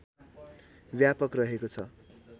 व्यापक रहेको छ